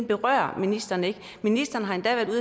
berører ministeren ikke ministeren har endda været